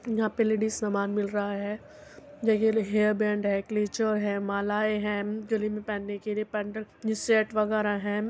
यहाँ पे लेडीज सामान मिल रहा है। देखिये हेयर बैंड है। क्लेचर है। मालाएं है गले मैं पहनने के लिए ये पेंडेंट ये सेट वगैरह है।